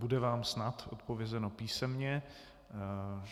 Bude vám snad odpovězeno písemně.